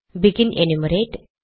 begin enumerate